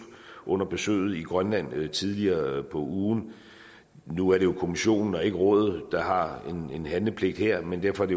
under besøget i grønland tidligere på ugen nu er det jo kommissionen og ikke rådet der har en handlepligt her men derfor er